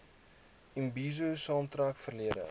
imbizo saamtrekke verlede